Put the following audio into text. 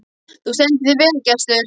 Þú stendur þig vel, Gestur!